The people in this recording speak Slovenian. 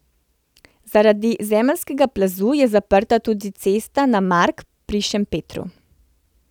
Zaradi zemeljskega plazu je zaprta tudi cesta na Mark pri Šempetru.